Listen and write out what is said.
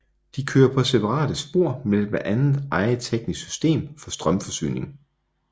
De kører på separate spor med blandt andet eget teknisk system for strømforsyning